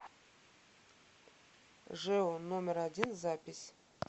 жэу номер один запись